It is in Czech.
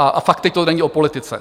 A fakt, teď to není o politice.